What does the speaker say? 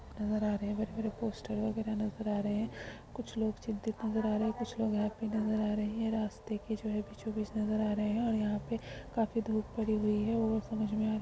नजर आ रहा है बड़े-बड़े पोस्टर वगैरह नजर आ रहे हैं। कुछ लोग चिंतित नजर आ रहे हैं और कुछ हैप्पी नजर रहे हैं रास्ते के जो है बीचों-बीच नजर आ रहे हैं और यहाँ पे काफी धूप पड़ी हुई है और समझ में आ --